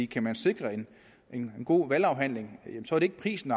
kan man sikre en god valghandling er det ikke prisen